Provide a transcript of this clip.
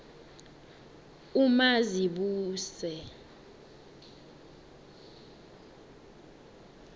umazibuse